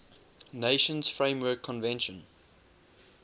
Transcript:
nations framework convention